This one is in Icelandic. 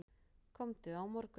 Komdu á morgun.